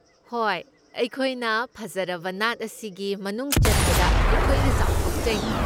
ꯍꯣꯏ, ꯑꯩꯈꯣꯏꯅ ꯐꯖꯔꯕ ꯅꯥꯠ ꯑꯁꯤꯒꯤ ꯃꯅꯨꯡꯆꯟꯕꯗ ꯑꯩꯈꯣꯏꯅ ꯆꯥꯎꯊꯣꯛꯆꯩ꯫